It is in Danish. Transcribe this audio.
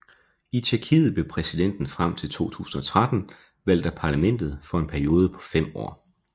I Tjekkiet blev præsidenten frem til 2013 valgt af parlamentet for en periode på fem år